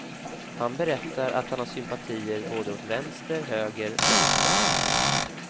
Han berättar att han har sympatier både åt vänster, höger och mitten.